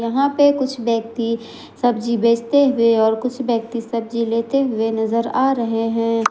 वहां पे कुछ व्यक्ति सब्जी बेचते हुए और कुछ व्यक्ति सब्जी लेते हुए नजर आ रहे हैं।